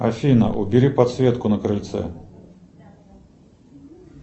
афина убери подсветку на крыльце